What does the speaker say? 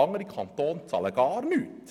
Andere Kantone zahlen gar nichts.